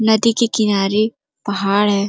नदी के किनारे पहाड़ है।